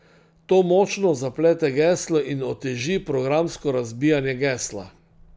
To močno zaplete geslo in oteži programsko razbijanje gesla.